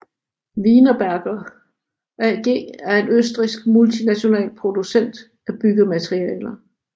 Wienerberger AG er en østrigsk multinational producent af byggematerialer